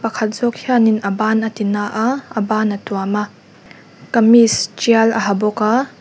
pakhat zawk hianin a ban a ti na a a ban a tuam a kamis tial a ha bawk a.